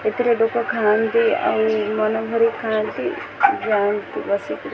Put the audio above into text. ଏଥିରେ ଲୋକ ଖାଆନ୍ତି ଆଉ ମନ ଭରି ଖାଆନ୍ତି ଯାଆନ୍ତି ବସିକି।